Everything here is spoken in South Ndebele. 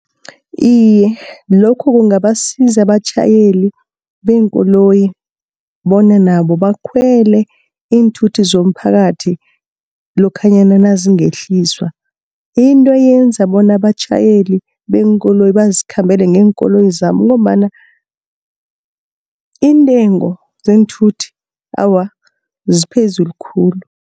Iye lokho kungabasiza abatjhayeli beenkoloyi bona nabo bakhwele iinthuthi zomphakathi, lokhanyana nazingehliswa. Into eyenza bona abatjhayeli beenkoloyi bazikhambele ngeenkoloyi zabo, ngombana iintengo zeenthuthi awa, ziphezulu khulu.